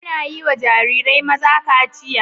Anayiwa Jarirai maza kaciya